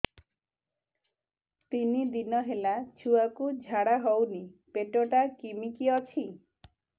ତିନି ଦିନ ହେଲା ଛୁଆକୁ ଝାଡ଼ା ହଉନି ପେଟ ଟା କିମି କି ଅଛି